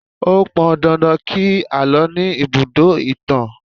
Ó pọn dandan kí àlọ́ ní ibùdó ìtàn